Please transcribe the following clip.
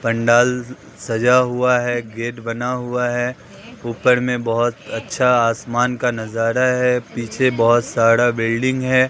पंडाल सजा हुआ है गेट बना हुआ है ऊपर में बहुत अच्छा आसमान का नज़ारा है पीछे बहुत सारा बिल्डिंग है।